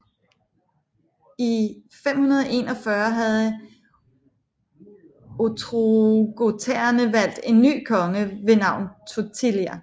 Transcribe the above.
I 541 havde ostrogoterne valgt en ny konge ved navn Totila